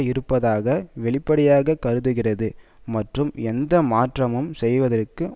இருப்பதாக வெளிப்படையாக கருதுகிறது மற்றும் எந்த மாற்றமும் செய்வதற்கும்